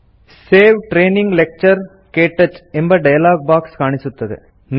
save training lecture - ಕ್ಟಚ್ ಎಂಬ dialogue box ಕಾಣಿಸುತ್ತದೆ